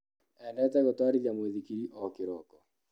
Endete gũtwarithia mũithikiri o kĩroko.